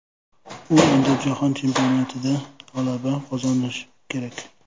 U endi Jahon Chempionatida g‘alaba qozonishi kerak.